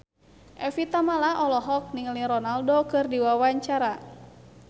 Evie Tamala olohok ningali Ronaldo keur diwawancara